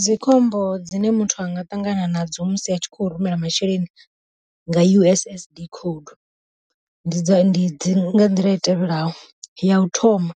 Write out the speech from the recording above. Dzi khombo dzine muthu anga ṱangana nadzo musi a tshi kho rumela masheleni nga U_S_S_D code, ndi ndi nga nḓila i tevhelaho, ya u thoma